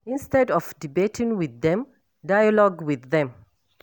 Instead of debating with dem, dialogue with them